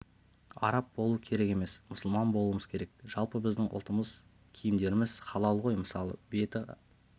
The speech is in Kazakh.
араб болу керек емес мұсылман болуымыз керек жалпы біздің ұлттық киімдеріміз халал ғой мысалы беті